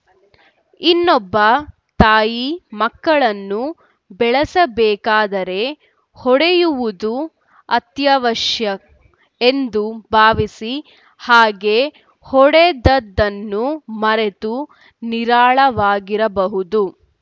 ಇನ್ನೊಬ್ಬ ತಾಯಿ ಮಕ್ಕಳನ್ನು ಬೆಳೆಸಬೇಕಾದರೆ ಹೊಡೆಯುವುದು ಅತ್ಯವಶ್ಯ ಎಂದು ಭಾವಿಸಿ ಹಾಗೆ ಹೊಡೆದದ್ದನ್ನು ಮರೆತು ನಿರಾಳವಾಗಿರಬಹುದು